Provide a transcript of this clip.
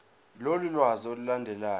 lolu lwazi olulandelayo